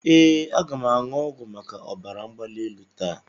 Ee, aga m aṅụ ọgwụ maka ọbara mgbali elu taa.